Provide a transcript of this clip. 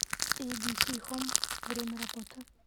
эйбиси хоум время работы